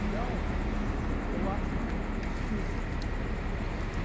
Então, eu acho que isso, né?